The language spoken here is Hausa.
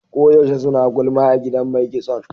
Ko yaushe suna gulma a gidan mai kitson.